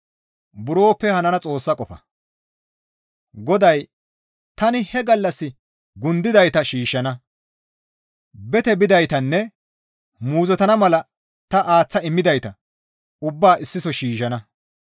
GODAY, «Tani he gallas gundidayta shiishshana; bete bidaytanne muuzottana mala ta aaththa immidayta ubbaa issiso shiishshana.